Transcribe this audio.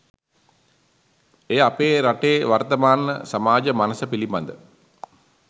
එය අප රටේ වර්තමාන සමාජ මනස පිළිබඳ